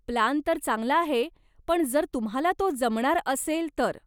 Plan तर चांगला आहे, पण जर तुम्हाला तो जमणार असेल तर.